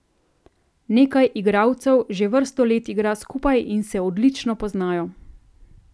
Nekaj igralcev že vrsto let igra skupaj in se odlično poznajo.